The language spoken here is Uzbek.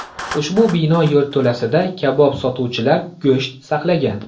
Ushbu bino yerto‘lasida kabob sotuvchilar go‘sht saqlagan.